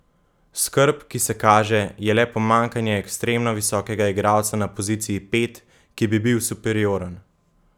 Skrb, ki se kaže, je le pomanjkanje ekstremno visokega igralca na poziciji pet, ki bi bil superioren.